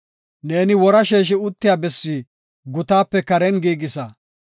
Ne wora sheeshi uttiya bessi gutaape karen giigisa.